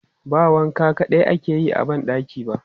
Ba wanka kaɗai ake yi a ban ɗaki ba.